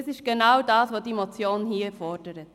Das ist aber genau das, was die Motion fordert.